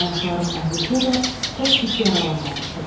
Ayaqlarım əzilsə də, çox pis yaralanmamışdım.